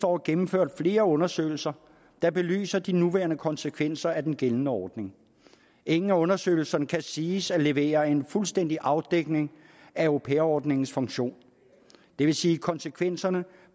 år gennemført flere undersøgelser der belyser de nuværende konsekvenser af den gældende ordning ingen af undersøgelserne kan siges at levere en fuldstændig afdækning af au pair ordningens funktion det vil sige konsekvenserne